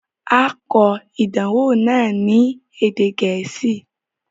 A o kọ̀ idànwọ̀ náà ni èdè Gẹẹsi